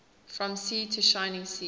from sea to shining sea